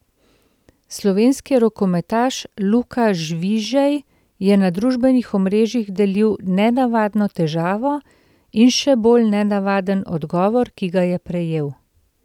Slovenski rokometaš Luka Žvižej je na družbenih omrežjih delil nenavadno težavo in še bolj nenavaden odgovor, ki ga je prejel.